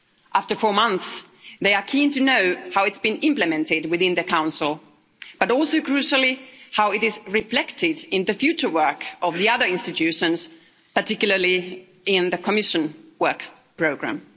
After four months they are keen to know how it's been implemented within the Council, but also, crucially, how it is reflected in the future work of the other institutions, particularly in the Commission work programme.